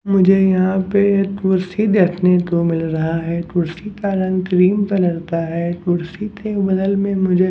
मुझे यहाँ पे एक कुर्सी देखने को मिल रहा है कुर्सी का रंग क्रीम कलर है कुर्सी के बगल में मुझे --